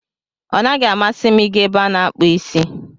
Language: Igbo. Ọ naghị amasị m ị ga ebe a na-akpụ isi.